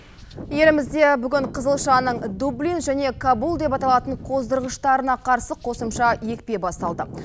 елімізде бүгін қызылшаның дублин және кабул деп аталатын қоздырғыштарына қарсы қосымша екпе басталды